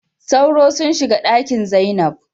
Sauro sunshiga Ɗakin zainab.